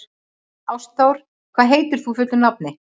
Ástþór, hvað heitir þú fullu nafni?